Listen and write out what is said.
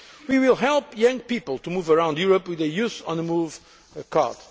level. We will help young people to move around Europe with a Youth on the